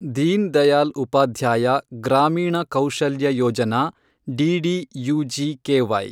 Deen Dayal Upadhyaya Grameen Kaushalya Yojana, DDUGKY